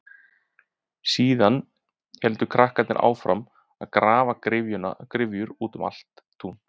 Síðan héldu krakkarnir áfram að grafa gryfjur út um allt tún.